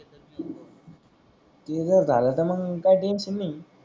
उभा झाला तर मग काही टेंशन नाही